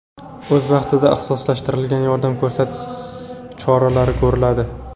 O‘z vaqtida ixtisoslashtirilgan yordam ko‘rsatish choralari ko‘riladi.